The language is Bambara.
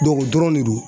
o dɔrɔn de do